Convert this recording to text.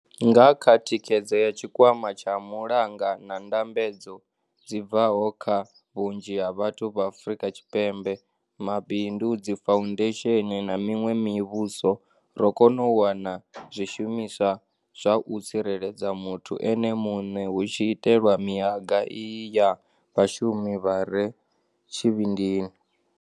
Nga kha thikhedzo ya Tshikwama tsha Mulanga na ndambedzo dzi bvaho kha vhunzhi ha vhathu vha Afrika Tshipembe, mabindu, dzifou-ndesheni na miṅwe mivhuso, ro kona u wana zwishumiswa zwa u tsireledza muthu ene muṋe hu tshi itelwa mihaga iyi ya vhashumi vha re tshivhindini.